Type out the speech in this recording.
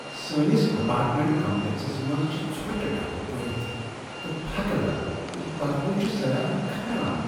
سانِس apartment complexes منٛز چھ ژھوٹہٕ ڈبہٕ بٔرتھ تہٕ پھكہٕ لد تہ یہِ بدبوٗ چھُ سیاحن كھران ۔